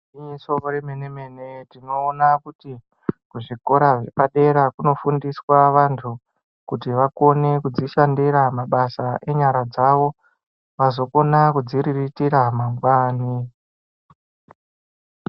Igwinyiso remene-mene tinoona kuti kuzvikora zvepadera kunofundiswa vantu kuti vakone kudzishandira mabasa enyara dzavo azokona kudziriritira mangwani.